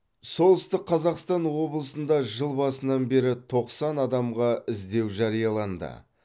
солтүстік қазақстан облысында жыл басынан бері тоқсан адамға іздеу жарияланды